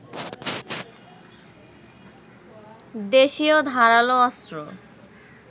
দেশীয় ধারালো অস্ত্র